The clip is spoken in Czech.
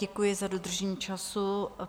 Děkuji za dodržení času.